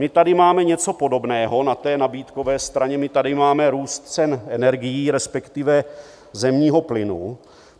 My tady máme něco podobného na té nabídkové straně, my tady máme růst cen energií, respektive zemního plynu.